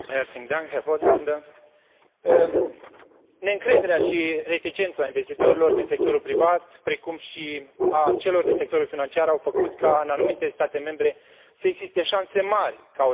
Neîncrederea și reticența investitorilor din sectorul privat, precum și a celor din sectorul financiar au făcut ca în anumite state membre să existe șanse mari ca o serie de proiecte strategice să nu fie realizate.